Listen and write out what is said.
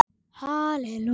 Bergþór Pálsson syngur.